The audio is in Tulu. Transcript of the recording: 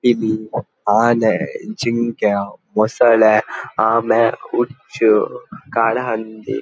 ಪಿಲಿ ಆನೆ ಜಿಂಕೆ ಮೊಸಳೆ ಆಮೆ ಉಚ್ಚು ಕಾಡಹಂದಿ.